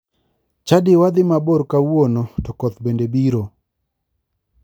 Chadiwa dhi mabor kawuono to koth bende biro